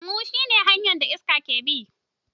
Huhu shi ne hanyar da iska ke bi.